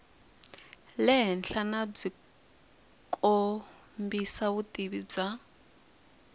le henhlanyanabyi kombisa vutivi bya